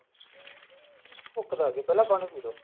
ਭੁੱਕੀ ਲੱਗਦੀ ਹੈ ਪਹਿਲਾਂ ਪਾਣੀ ਪਈ ਲੋ